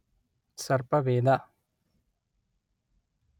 ಸರ್ಪವೇದ